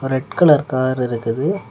Red colour car இருக்குது.